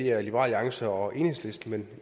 er liberal alliance og enhedslisten men